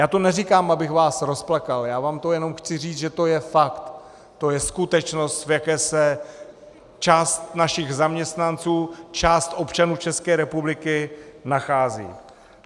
Já to neříkám, abych vás rozplakal, já vám to jenom chci říct, že to je fakt, to je skutečnost, v jaké se část našich zaměstnanců, část občanů České republiky nachází.